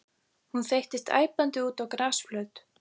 Hún þeyttist æpandi út á grasflöt.